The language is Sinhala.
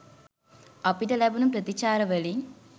අපිට ලැබුණු ප්‍රතිචාර වලින්